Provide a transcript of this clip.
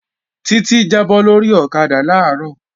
Títí jábọ́ lórí ọ̀kadà làárọ̀